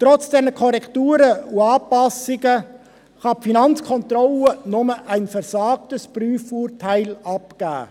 Trotz der Korrekturen und Anpassungen kann die FK nur ein «versagtes» Prüfurteil abgeben.